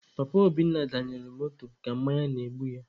Papa Obinna danyelụ moto ka mmanya na-egbu ya.